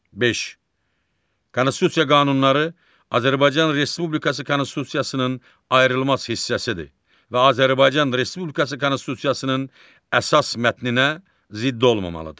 Konstitusiya qanunları Azərbaycan Respublikası konstitusiyasının ayrılmaz hissəsidir və Azərbaycan Respublikası konstitusiyasının əsas mətninə zidd olmamalıdır.